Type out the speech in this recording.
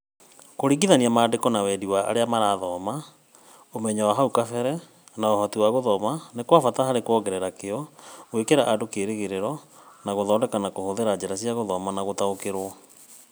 Kũringithania maandĩko na wendi wa arĩa marathoma, ũmenyo wa hau kabere, na ũhoti wa gũthoma nĩ kwa bata harĩ kuongerera kĩyo, gwĩkĩra andũ kĩĩrĩgĩrĩro, na gũthondeka na kũhũthĩra njĩra cia gũthoma na gũtaũkĩrũo.